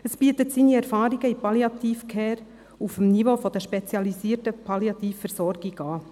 Es bietet seine Erfahrung in der Palliative Care auf dem Niveau der spezialisierten Palliativversorgung an.